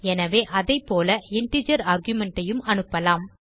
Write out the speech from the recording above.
எனவே அதைப்போல இன்டிஜர் argumentஐயும் அனுப்பலாம்